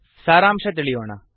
ಸಾರಾಂಶ ತಿಳಿಯೋಣ